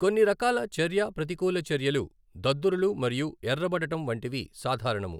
కొన్నిరకాల చర్య ప్రతికూల చర్యలు దద్దురులు మరియు ఎఱ్ఱబడటం వంటివి సాధారణము.